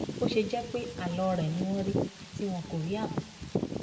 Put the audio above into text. àfi bó ṣe jẹ pé àlọ rẹ ni wọn rí tí wọn kò rí àbọ